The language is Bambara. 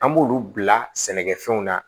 An b'olu bila sɛnɛkɛfɛnw na